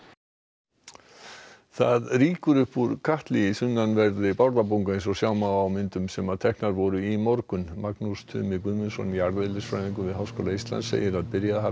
það rýkur upp úr katli í sunnanverðri Bárðarbungu eins og sjá má á myndum sem teknar voru í morgun Magnús Tumi Guðmundsson jarðeðlisfræðingur við Háskóla Íslands segir að byrjað hafi að sjást í